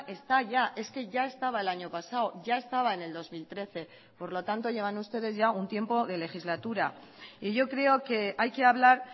está ya es que ya estaba el año pasado ya estaba en el dos mil trece por lo tanto llevan ustedes ya un tiempo de legislatura y yo creo que hay que hablar